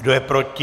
Kdo je proti?